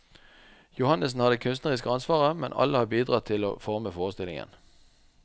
Johannessen har det kunstneriske ansvaret, men alle har bidratt til å forme forestillingen.